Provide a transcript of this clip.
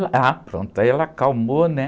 Ah, pronto, aí ela acalmou, né?